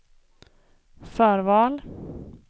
förval